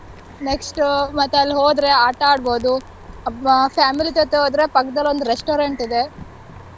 Next ಮತ್ತೆ ಅಲ್ ಹೋದ್ರೆ ಆಟ ಆಡ್ಬೋದು, ಅಹ್ family ಜೊತೆ ಹೋದ್ರೆ ಪಕ್ದಲ್ಲೊಂದ್ restaurant ಇದೆ.